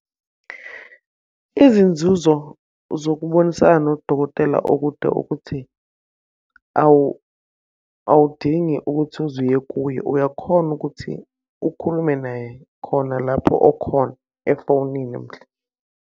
Izinzuzo zokubonisana nodokotela okude ukuthi awudingi ukuthi uze uye kuye, uyakhona ukuthi ukhulume naye khona lapho okhona efonini .